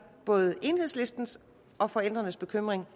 både enhedslistens og forældrenes bekymring